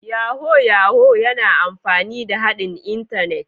Yahoo Yahoo yana amfani da haɗin Intanet